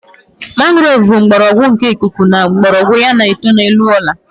Mangrove bụ mgbọrọgwụ nke ikuku nke mgbọrọgwụ ya na-eto n'elu ala